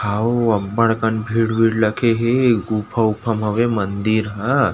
हओ अब्बड़ कन भीड़ वीड़ लगे हे गुफा उफा म हवय मंदिर ह|.